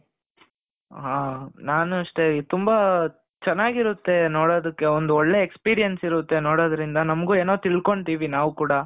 ಹಾ ನಾನು ಅಷ್ಟೇ ತುಂಬಾ ಚೆನ್ನಾಗಿರುತ್ತೆ ನೋಡೋದಕ್ಕೆ ಒಂದು ಒಳ್ಳೆ experience ಇರುತ್ತೆ ನೋಡೋದ್ರಿಂದ ನಮಗೂ ಏನೋ ತಿಳ್ಕೊಂತಿವಿ ನಾವು ಕೂಡ.